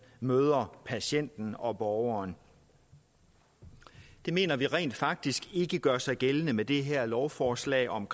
møder patienten og borgeren det mener vi rent faktisk ikke gør sig gældende med det her lovforslag om